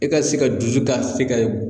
E ka se ka dusu ka se ka